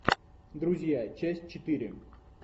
друзья часть четыре